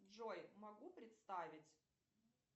джой могу представить